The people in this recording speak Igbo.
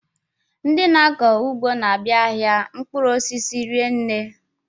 Ndị na-akọ ugbo n'abia ahịa mkpụrụ osisi rinne.